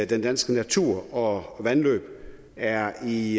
den danske natur og vandløb er i